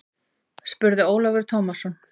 spurði Ólafur Tómasson.